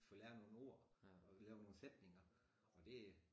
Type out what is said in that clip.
Få lært nogen ord og lave nogen sætninger og det